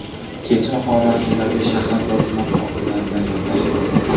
kecha Xorazmdagi shahar va tuman hokimlari bilan gaplashdim.